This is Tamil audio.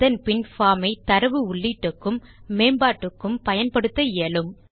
அதன் பின் பார்ம் ஐ தரவு உள்ளீட்டுக்கும் மேம்பாட்டுக்கும் பயன்படுத்த இயலும்